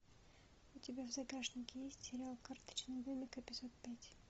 у тебя в загашнике есть сериал карточный домик эпизод пять